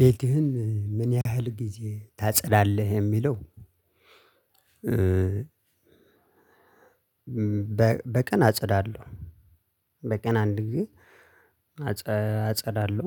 ቤትህን ምን ያህል ጊዜ ታጸዳለህ የሚለው? በቀን አጸዳለሁ በቀን አንድ ጊዜ አጸዳለሁ